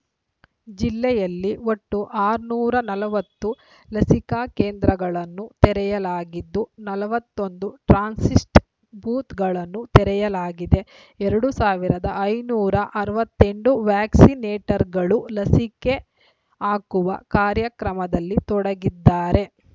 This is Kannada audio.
ಜಿಲ್ಲೆಯಲ್ಲಿ ಒಟ್ಟು ಆರನೂರ ನಲವತ್ತು ಲಸಿಕಾ ಕೇಂದ್ರಗಳನ್ನು ತೆರೆಯಲಾಗಿದ್ದು ನಲವತ್ತೊಂದು ಟ್ರಾನ್ಸ್ಸಿಸ್ಟ್ ಬೂತ್‌ಗಳನ್ನು ತೆರೆಯಲಾಗಿದೆ ಎರಡ್ ಸಾವಿರದ ಐನೂರ ಅರವತ್ತೆಂಟು ವ್ಯಾಕ್ಸಿ ನೇಟರ್‌ಗಳು ಲಸಿಕೆ ಹಾಕುವ ಕಾರ್ಯಕ್ರಮದಲ್ಲಿ ತೊಡಗಿದ್ದಾರೆ